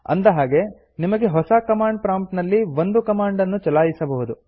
ಅಂದ ಹಾಗೆ ನಿಮಗೆ ಹೊಸ ಕಮಾಂಡ್ ಪ್ರಾಂಪ್ಟ್ ನಲ್ಲಿ ಒಂದು ಕಮಾಂಡ್ ನ್ನು ಚಲಾಯಿಸಬಹುದು